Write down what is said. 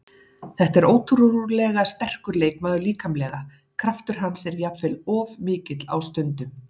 Þetta er ótrúlega sterkur leikmaður líkamlega, kraftur hans er jafnvel of mikill á stundum.